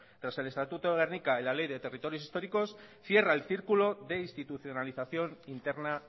tras el estatuto de gernika y la ley de territorios históricos cierra el círculo de institucionalización interna